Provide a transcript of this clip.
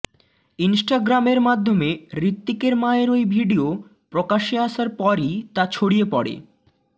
ইনস্টাগ্রামের মাধ্যমে হৃত্বিকের মায়ের ওই ভিডিয়ো প্রকাশ্যে আসার পরই তা ছড়িয়ে পড়ে